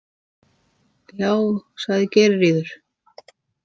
Já, sagði Geirríður.